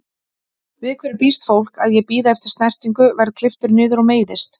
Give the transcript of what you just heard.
Við hverju býst fólk, að ég bíði eftir snertingu, verð klipptur niður og meiðist?